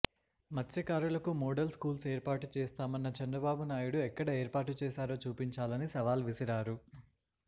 మత్స్యకారులకు model schools ఏర్పాటు చేస్తామన్న చంద్రబాబు నాయుడు ఎక్కడ ఏర్పాటు చేశారో చూపించాలని సవాల్ విసిరారు